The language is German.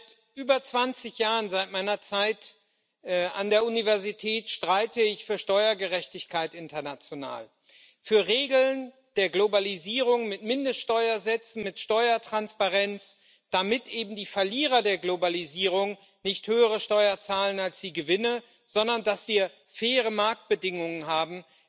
Seit über 20 Jahren, seit meiner Zeit an der Universität, streite ich für Steuergerechtigkeit international, für Regeln der Globalisierung mit Mindeststeuersätzen, mit Steuertransparenz, damit eben die Verlierer der Globalisierung nicht höhere Steuern zahlen als die Gewinner, sondern damit wir faire Marktbedingungen haben